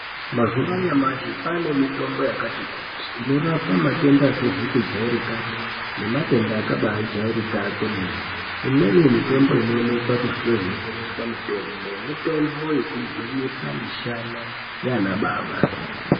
Mazuwa anyamashi kwane mitombo yakati kuti inorapa matenda asizi kujairikapi nematenda akajairika kwemene imweni mitombo inoonekwa kunotsengeswa mitombo mitombo yekugwinyisa mishana yana baba.